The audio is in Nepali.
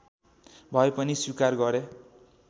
भए पनि स्वीकार गरे